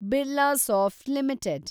Birlasoft limited